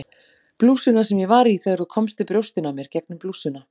Blússuna sem ég var í þegar þú komst við brjóstin á mér gegnum blússuna